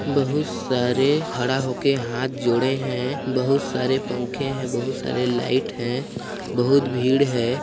बहुत सारे खड़ा होके हाथ जोड़े है बहुत सारे पंखे है बहुत सारे लाइट है बहुत भीड़ है।